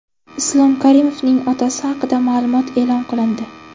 Islom Karimovning otasi haqida ma’lumot e’lon qilindi.